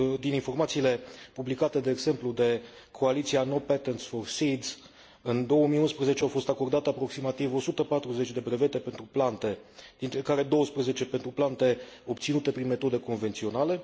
Din informațiile publicate, de exemplu, de Coaliția North Patterns for Seeds, în 2011 au fost acordate aproximativ 140 de brevete pentru plante, dintre care 12 pentru plante obținute prin metode convenționale.